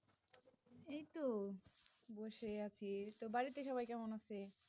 এই তো বসে আছি তা বাড়িতে সবাই কেমন আছে?